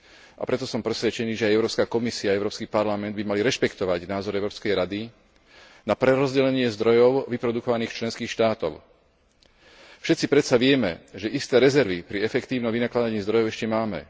A preto som presvedčený, že aj Európska komisia a Európsky parlament by mali rešpektovať názor Európskej rady na prerozdelenie zdrojov vyprodukovaných v členských štátoch. Všetci predsa vieme, že isté rezervy pri efektívnom vynakladaní zdrojov ešte máme.